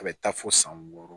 A bɛ taa fo san wɔɔrɔ